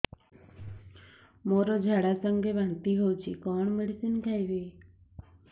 ମୋର ଝାଡା ସଂଗେ ବାନ୍ତି ହଉଚି କଣ ମେଡିସିନ ଖାଇବି